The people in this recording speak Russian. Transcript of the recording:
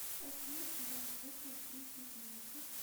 афина убавь звук на три еденицы